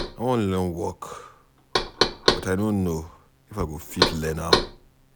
I wan learn work but I no know if I go fit learn am